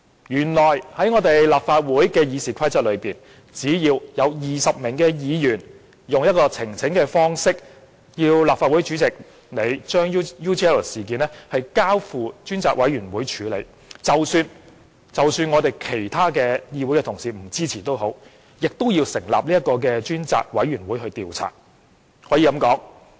原來立法會《議事規則》容許只要有20名議員以呈請方式要求立法會主席將 UGL 事件交付專責委員會處理，即使其他議員不支持，仍要成立專責委員會調查。